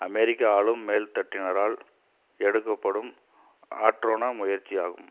அமெரிக்க ஆளும் மேல் தட்டினரால் எடுக்கப்படும் ஆற்றொணா முயற்சி ஆகும்